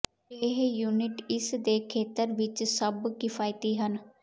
ਇਹ ਯੂਨਿਟ ਇਸ ਦੇ ਖੇਤਰ ਵਿਚ ਸਭ ਕਿਫ਼ਾਇਤੀ ਹਨ